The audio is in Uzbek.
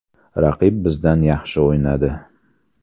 Raqib bizdan yaxshi o‘ynadi.